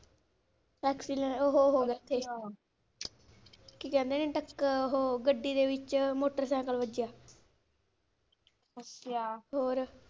Akcilan ਉਹ ਹੋ ਹੋ ਕੀ ਕਹਿੰਦੇ ਨੇ ਟੱਕਰ ਓਹੋ ਗੱਡੀ ਦੇ ਵਿਚ motorcycle ਵੱਜਿਆ ਹੋਰ?